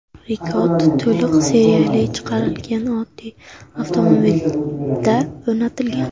Rekord to‘liq seriyali chiqarilgan oddiy avtomobilda o‘rnatilgan.